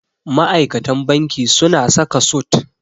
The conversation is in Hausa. Ma'aikatan banki suna saka sut.